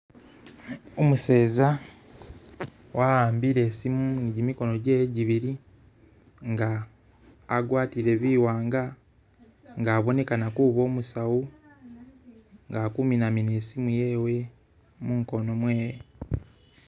Umuseza waambile isimu ni gimigoono gyewe jibili nga agwatile biwanga nga abonekana kuba umusawu nga ali khuminamina isimu yewe mukoono mwewe